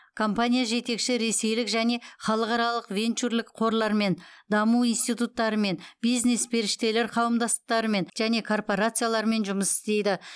компания жетекші ресейлік және халықаралық венчурлік қорлармен даму институттарымен бизнес періштелер қауымдастықтарымен және корпорациялармен жұмыс істейді